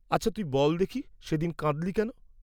আচ্ছা তুই বল দেখি সে দিন কাঁদ্‌লি কেন?